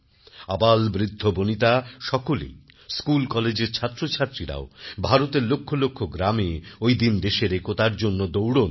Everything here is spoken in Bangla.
আবালবৃদ্ধবনিতা সকলেই স্কুলকলেজের ছাত্রছাত্রীরাও ভারতের লক্ষ লক্ষ গ্রামে ঐদিন দেশের একতার জন্য দৌড়ান